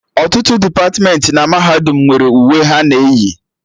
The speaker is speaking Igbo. Ọtụtụ depatmentị mahadum nwere uwe ha na eyi